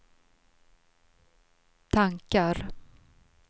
tankar